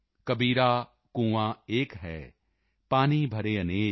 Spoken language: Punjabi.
ਕਬੀਰਾ ਕੁਆਂ ਏਕ ਹੈ ਪਾਨੀ ਭਰੇ ਅਨੇਕ